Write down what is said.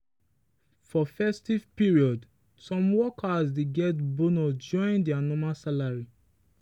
for festive period some workers dey get bonus join their normal salary.